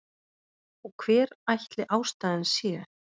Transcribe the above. Og hver ætli ástæðan sé?